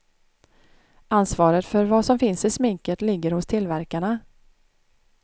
Ansvaret för vad som finns i sminket ligger hos tillverkarna.